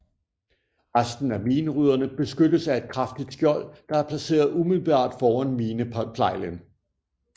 Resten af minerydderne beskyttes af et kraftigt skjold der er placeret umiddelbart foran mineplejlen